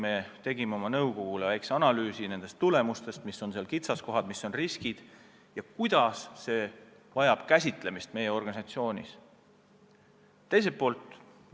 Me tegime väikese analüüsi oma nõukogule töö tulemustest: mis on kitsaskohad, mis on riskid, kuidas me seda oma organisatsioonis käsitlema peaksime.